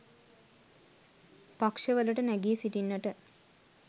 පක්ෂ වලට නැගී සිටින්නට